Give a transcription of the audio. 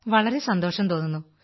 വളരെ സന്തോഷം തോന്നുന്നു